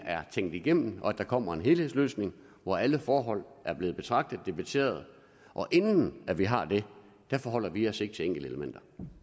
er tænkt igennem og at der kommer en helhedsløsning hvor alle forhold er blevet betragtet og debatteret inden vi har det forholder vi os ikke til enkeltelementer